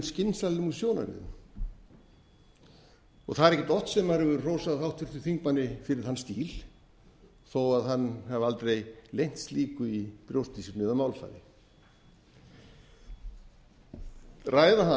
skynsamlegum sjónarmiðum það er ekkert oft sem maður hefur hrósað háttvirtum þingmanni fyrir þann stíl þó hann hafi aldrei leynt slíku í brjósti sínu eða